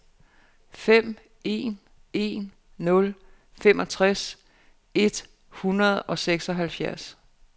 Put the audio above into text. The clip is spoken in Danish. fem en en nul femogtres et hundrede og seksoghalvfjerds